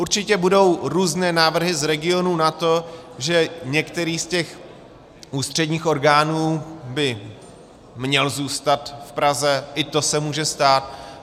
Určitě budou různé návrhy z regionů na to, že některý z těch ústředních orgánů by měl zůstat v Praze, i to se může stát.